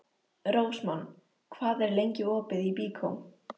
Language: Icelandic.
Rósmann, hvað er lengi opið í Byko?